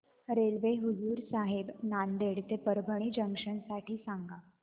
railway Hazur Sahib Nanded ते Parbhani junction साठी सांगा